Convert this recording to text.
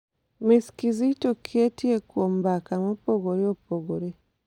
Ms. Kizito Kieti kuom mbaka mopogore opogore.